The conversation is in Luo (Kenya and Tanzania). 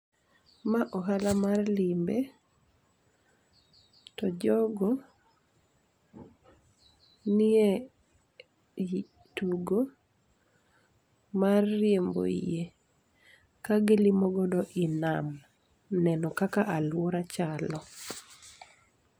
Ma ohala mar limbe, to jogo nie tugo mar riembo yie, kagilimo godo i nam, neno kaka aluora chalo.